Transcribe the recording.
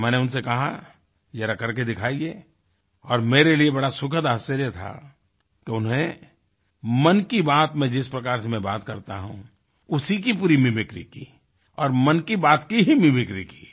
तो मैंने उनसे कहा ज़रा कर के दिखाइये और मेरे लिए बड़ा सुखद आश्चर्य था तो उन्होंने मन की बात में जिस प्रकार से मैं बात करता हूँ उसी की पूरी मिमिक्री की और मन की बात की ही मिमिक्री की